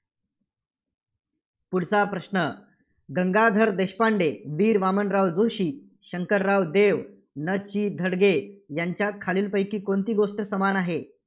पुढचा प्रश्न गंगाधर देशपांडे, वीर वामनराव जोशी, शंकरराव देव, न. चि. धडगे यांच्यात खालीलपैकी कोणती गोष्ट समान आहे?